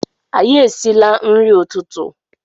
Anyi esile nri ututu